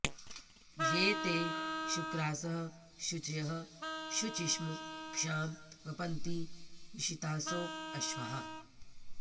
ये ते शुक्रासः शुचयः शुचिष्मः क्षां वपन्ति विषितासो अश्वाः